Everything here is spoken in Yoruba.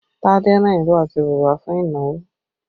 Tade ran ìró àti bùbá fún ìnáwó